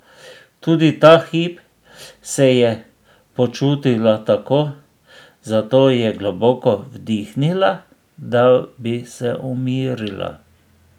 Tudi ta hip se je počutila tako, zato je globoko vdihnila, da bi se umirila.